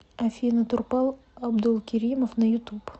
афина турпал абдулкеримов на ютуб